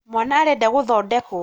mwana arenda gũthondekwo